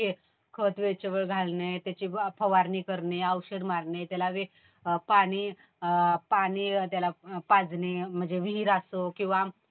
मग त्याला खत वेळच्या वेळेवर घालणे. त्याची फवारणी करणे. औषध मारणे .पाणी त्याला पाजणे म्हणजे विहीर असो